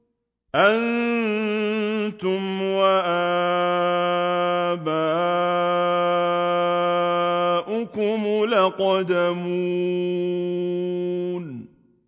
أَنتُمْ وَآبَاؤُكُمُ الْأَقْدَمُونَ